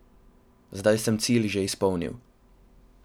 Zdaj sem cilj že izpolnil.